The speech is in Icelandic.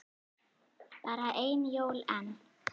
Bara ein jól enn.